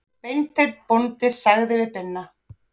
Beinteinn bóndi sagði við Binna